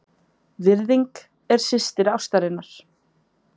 VIRÐING- er systir ástarinnar.